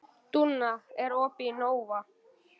Dúnna, er opið í Nova?